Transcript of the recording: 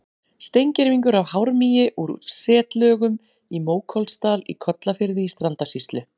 Steingervingur af hármýi úr setlögum í Mókollsdal í Kollafirði í Strandasýslu.